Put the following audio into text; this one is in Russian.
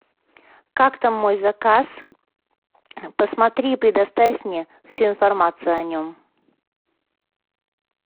как там мой заказ посмотри и предоставь мне всю информацию о нем